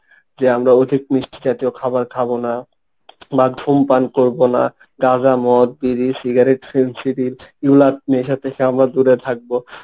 যে আমরা অধিক মিষ্টি জাতীয় খাবার খাবো না, বা ধূমপান করবো না। গাঁজা, মদ, বিড়ি, সিগারেট, film এগুলা নেশা থেকে আমরা দূরে থাকবো